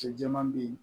Cɛ jɛman bɛ yen